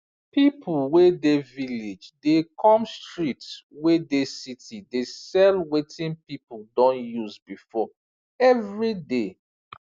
pipu wey dey village dey come street wey dey city dey sell wetin pipu don use before every day